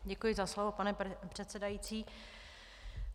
Děkuji za slovo, pane předsedající.